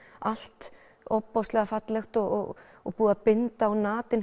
allt ofboðslega fallegt og og búið að binda á